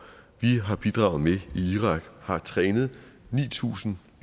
vi har bidraget med i irak har trænet ni tusind